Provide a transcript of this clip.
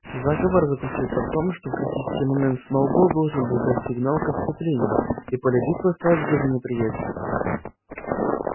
заговор заключался в том что в критический момент сноуболл должен был дать сигнал к отступлению и поле битвы осталось бы за неприятелем